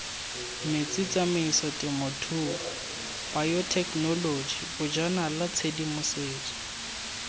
metsi tsamaisotemothuo bayothekenoloji bojanala tshedimosetso